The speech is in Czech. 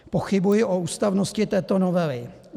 Pochybuji o ústavnosti této novely.